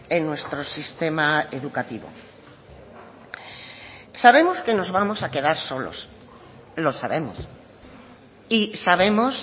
en nuestro sistema educativo sabemos que nos vamos a quedar solos lo sabemos y sabemos